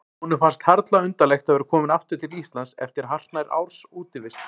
Honum fannst harla undarlegt að vera kominn aftur til Íslands eftir hartnær árs útivist.